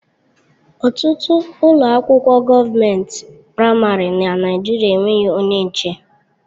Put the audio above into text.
Ọtụtụ ụlọ akwụkwọ gọọment praịmarị na Naijiria enweghị onye nche.